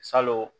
Salon